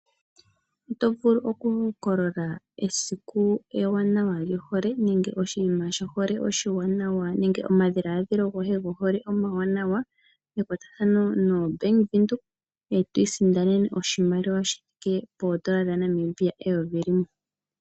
Oto vulu okuhokolola esiku ewanawa lyohole nenge oshima sho hole oshiwanawa nenge omadhiladhilo goye gohole omawanawa mekwatathno no Bank Windhoek, etwi sindanene oshimaliwa shi thike poondola dha Namibia eyovi limwe.